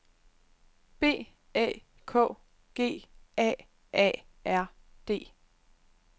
B Æ K G A A R D